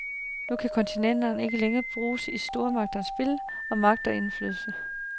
Nu kan kontinentet ikke længere bruges i stormagternes spil om magt og indflydelse.